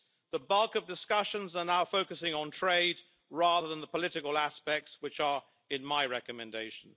The bulk of discussions are now focusing on trade rather than the political aspects, which are in my recommendation.